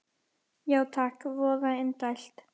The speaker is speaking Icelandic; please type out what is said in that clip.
Já takk, voða indælt